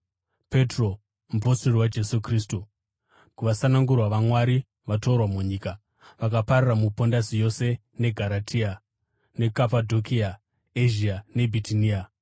Petro, mupostori waJesu Kristu, kuvasanangurwa vaMwari, vatorwa munyika, vakapararira muPondasi yose, neGaratia, neKapadhokia, Ezhia neBhitinia,